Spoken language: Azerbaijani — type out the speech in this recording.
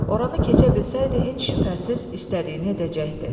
Oranı keçə bilsəydi, heç şübhəsiz istədiyini edəcəkdi.